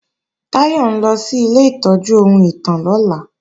Táyọ̀ ń lọ sí ilé ìtọ́jú ohun ìtàn lọ́la